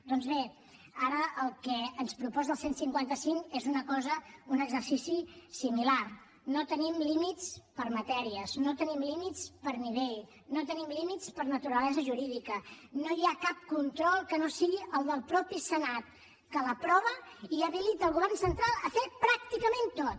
doncs bé ara el que ens proposa el cent i cinquanta cinc és una cosa un exercici similar no tenim límits per matèries no tenim límits per nivell no tenim límits per naturalesa jurídica no hi ha cap control que no sigui el del mateix senat que l’aprova i habilita el govern central a fer pràcticament tot